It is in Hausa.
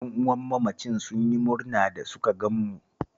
Ƴan'uwan mamacin sun yi murna da suka gan mu